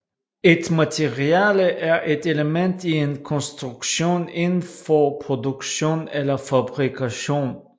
Et materiale er et element i en konstruktion inden for produktion eller fabrikation